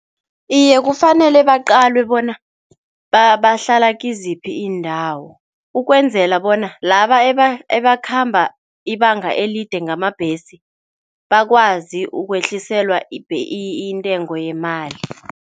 Iye, kufanele baqalwe bona bahlala kiziphi iindawo ukwenzela bona laba ebakhamba ibanga elide ngamabhesi bakwazi ukwehliselwa intengo yemali.